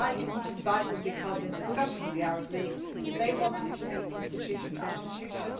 I did not invite them because in discussion with the Arab League they wanted to meet institution to institution.